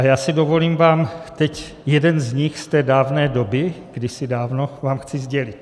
A já si dovolím vám teď jeden z nich z té dávné doby, kdysi dávno, vám chci sdělit.